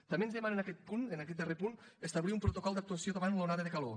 també ens demana en aquest punt en aquest darrer punt establir un protocol d’actuació davant l’onada de calor